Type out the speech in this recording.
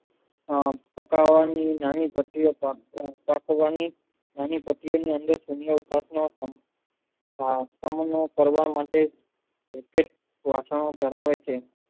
અમ પાકવાની નાની પ્રક્રિયા ની કરવા માટે પ્રત્યેક રસનો ધારેવે છે